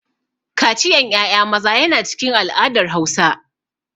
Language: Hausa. Kaciyan ƴaƴa maza yana cikin al'adar Hausa.